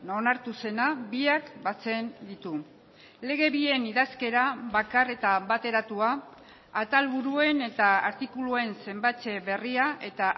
onartu zena biak batzen ditu lege bien idazkera bakar eta bateratua atalburuen eta artikuluen zenbatze berria eta